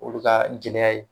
Olu ka gɛlɛya ye